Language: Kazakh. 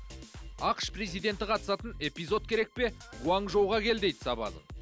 ақш президенті қатысатын эпизод керек пе гуанчжоуға кел дейді сабазың